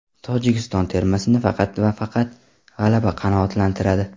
Tojikiston termasini faqat va faqat g‘alaba qanoatlantiradi.